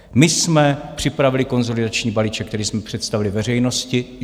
My jsme připravili konsolidační balíček, který jsme představili veřejnosti.